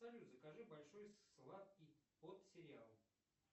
салют закажи большой сладкий под сериал